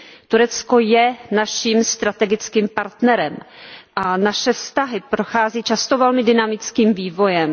Turecko je naším strategickým partnerem a naše vztahy prochází často velmi dynamickým vývojem.